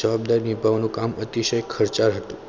જવાબદારી નિભાવવાનું અતિશય ખર્ચાળ હતું.